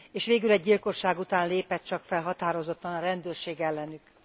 És végül egy gyilkosság után lépett csak fel határozottan a rendőrség ellenük.